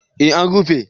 Eh an rufe